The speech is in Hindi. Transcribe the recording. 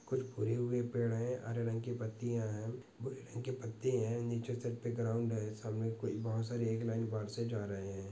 कुछ भूरे हुए पेड़ है हरे रंग की पत्तियाँ है भूरे रंग के पत्ते है निचे सर पे ग्राउंड (ground) लाइन बार से जा रहे है .